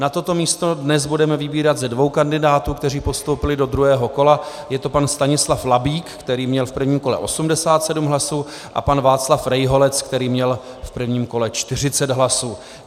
Na toto místo dnes budeme vybírat ze dvou kandidátů, kteří postoupili do druhého kola, je to pan Stanislav Labík, který měl v prvním kole 87 hlasů, a pan Václav Rejholec, který měl v prvním kole 40 hlasů.